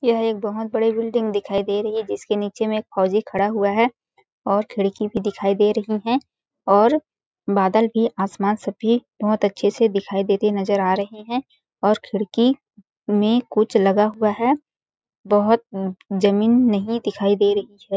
यह एक बहुत बड़ी बिल्डिंग दिखाई दे रही है जिसके नीचे में एक फौजी खड़ा हुआ है और खिड़की भी दिखाई दे रही है और बादल भी आसमान सभी बहुत अच्छे से दिखाई देते नज़र आ रही है और खिड़की में कुछ लगा हुआ है बहुत न अ जमीन नहीं दिखाई दे रही है।